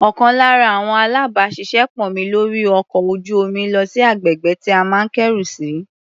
Ọ̀kan lára àwọn alábàáṣiṣé pọ̀ mi lórí ọkọ̀ ojú-omi lọ sí agbègbè tí a máa kẹ́rù sí.